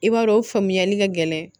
I b'a dɔn o faamuyali ka gɛlɛn